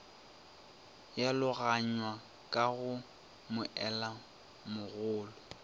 ya logaganywa ka go moelamogolo